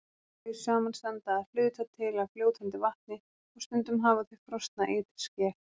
Þau samanstanda að hluta til af fljótandi vatni og stundum hafa þau frosna ytri skel.